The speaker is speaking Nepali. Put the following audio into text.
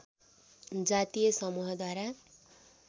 जातीय समूहहरू द्वारा